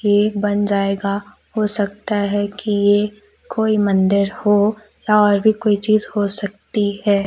Cake बन जाएगा। हो सकता है कि यह कोई मंदिर हो या और भी कोई चीज हो सकती है।